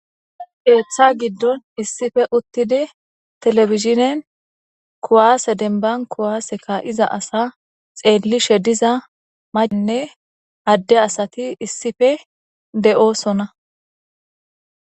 Keeththa giddon issife uttidi telefizhinen kuwaase denban kuwaaseka iza asa xeellishe diza mayinne adde asati issife de7oosona